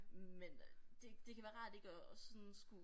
Men øh det det kan været rart ikke at sådan skulle